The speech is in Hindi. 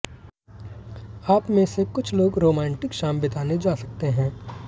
आपमें से कुछ लोग रोमांटिक शाम बिताने जा सकते हैं